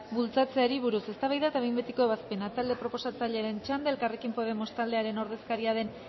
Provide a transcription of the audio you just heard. bultzatzeari buruz eztabaida eta behin betiko ebazpena talde proposatzailearen txanda elkarrekin podemos taldearen ordezkari den